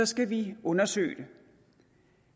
skal vi undersøge det